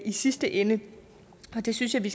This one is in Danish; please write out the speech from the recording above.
i sidste ende jeg synes vi